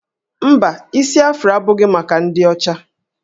Mba, isi Afro abụghị maka ndị ọcha